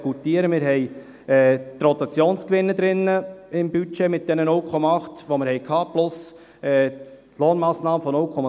Im Budget sind die Rotationsgewinne enthalten mit diesen 0,8, die wir gehabt haben, plus die Lohnmassnahme von 0,7.